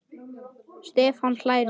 Stefán hlær við.